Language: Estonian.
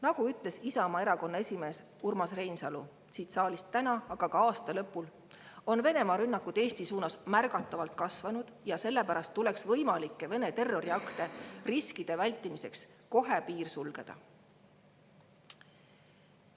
Nagu ütles Isamaa Erakonna esimees Urmas Reinsalu siin saalis täna, aga ka aasta lõpul, on Venemaa rünnakud Eesti suunas märgatavalt kasvanud ja sellepärast tuleks võimalike Vene terroriaktide riski vältimiseks kohe piir sulgeda.